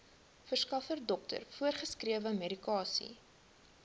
verskaffer dokter voorgeskrewemedikasie